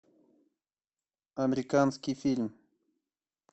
американский фильм